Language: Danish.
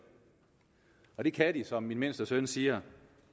og det kan de som min mindste søn siger